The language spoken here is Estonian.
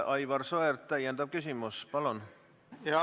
Aivar Sõerd, täiendav küsimus, palun!